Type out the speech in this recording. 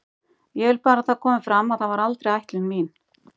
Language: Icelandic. Ég vil bara að það komi fram að það var aldrei ætlun mín.